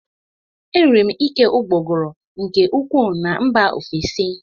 Eriri m ike ụgbọguru nke ukwuu na mba ofesi